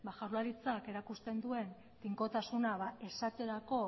jaurlaritzak erakusten duen tinkotasuna esaterako